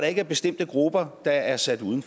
ikke er bestemte grupper der er sat uden